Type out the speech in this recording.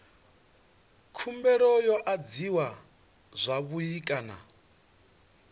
khumbelo yo adziwa zwavhui kana